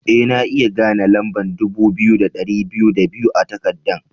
Eh, na iya gane lamba'n dubu biyu da dari biyu da biyu a'takadan.